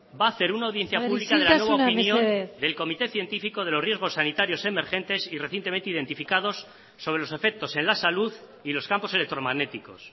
va a hacer una audiencia pública isiltasuna mesedez de la nueva opinión del comité científico de los riesgos sanitarios emergentes y recientemente identificados sobre los efectos en la salud y los campos electromagnéticos